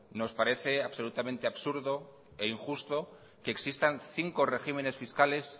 nos parece absolutamente absurdo e injusto que existan cinco regímenes fiscales